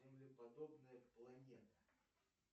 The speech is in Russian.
землеподобная планета